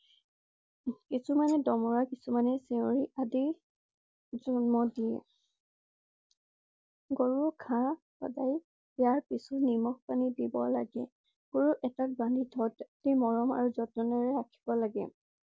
কিছুমানে ডমৰা কিছুমানে চেউৰি আদি জন্ম দিয়ে। গৰু ঘাঁহ দিয়াৰ পিছত নিমখ পানী দিব লগে। গৰু এটা ঘৰত বান্ধি অতি মৰম আৰু যতনেৰে ৰাখিব লাগে।